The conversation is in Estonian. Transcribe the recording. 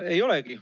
Ei olegi.